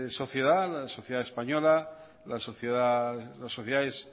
sociedad la sociedad española las sociedades